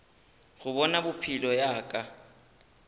go bona pelo ya ka